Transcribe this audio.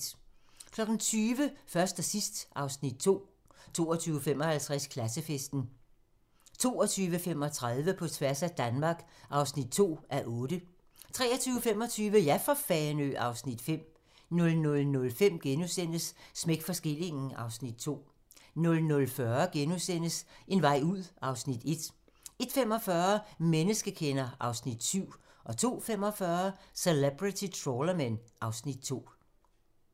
20:00: Først og sidst (Afs. 2) 20:55: Klassefesten 22:35: På tværs af Danmark (2:8) 23:25: Ja for Fanø! (Afs. 5) 00:05: Smæk for skillingen (Afs. 2)* 00:40: En vej ud (Afs. 1)* 01:45: Menneskekender (Afs. 7) 02:45: Celebrity Trawlermen (Afs. 2)